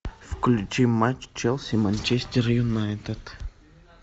включи матч челси манчестер юнайтед